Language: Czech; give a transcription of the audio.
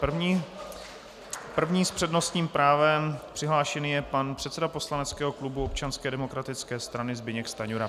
První s přednostním právem přihlášený je pan předseda poslaneckého klubu Občanské demokratické strany Zbyněk Stanjura.